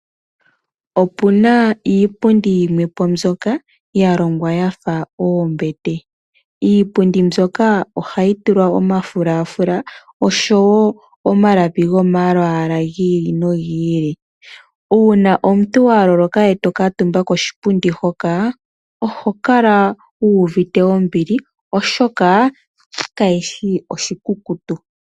Opu na iipundi yimwepo mbyoka yalongwa yafa oombete, iipundi mbyoka oha yi tulwa Omafulafula osho woo omalapi go malwaala give ili no gi ili, uuna omuntu wa loloka eto kantumba koshipundi hoka oho kala wu uvite ombili oshoka ka shishi oshikukutu.